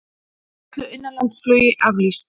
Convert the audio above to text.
Öllu innanlandsflugi aflýst